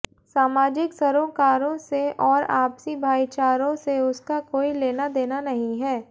सामाजिक सरोकारों से और आपसी भाईचारों से उसका कोई लेनादेना नहीं है